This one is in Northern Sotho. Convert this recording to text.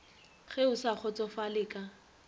ge o sa kgotsofale ka